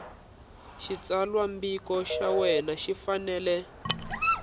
xitsalwambiko xa wena xi fanele